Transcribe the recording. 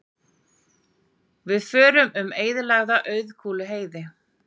Við förum um eyðilega Auðkúluheiði.